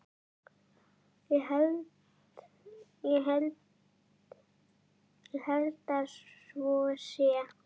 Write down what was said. Ég held að svo sé.